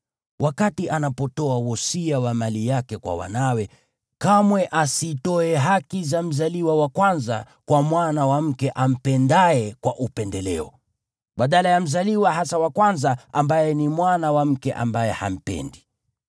wakati anapotoa wosia wa mali yake kwa wanawe, kamwe asitoe haki za mzaliwa wa kwanza kwa mwana wa mke ampendaye kwa upendeleo, badala ya mzaliwa hasa wa kwanza, ambaye ni mwana wa mke ambaye hampendi.